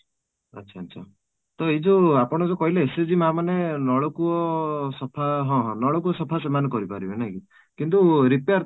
ଆଚ୍ଛା, ଆଚ୍ଛା ଆଚ୍ଛା ତ ଏଇ ଯୋଉ ଆପଣ ଯୋଉ କହିଲେ SAG ମାଆ ମାନେ ନଳକୂଅ ସଫା ହଁ ହଁ ନଳକୂଅ ସଫା ସେମାନେ କରିପାରିବେ ନାଇଁ କି କିନ୍ତୁ repair